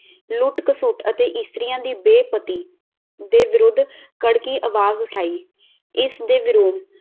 ਲੁੱਟ-ਘਸੁੱਟ ਅਤੇ ਇਸਤਰੀਆਂ ਦੀ ਦੇ ਵਿਰੁੱਧ ਕੜਕੀ ਆਵਾਜ਼ ਉਠਾਈ ਇਸਦੇ ਵਿਰੋਧ